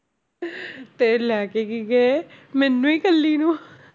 ਤੇ ਲੈ ਕੇ ਕੀ ਗਏ ਮੈਨੂੰ ਹੀ ਇਕੱਲੀ ਨੂੰ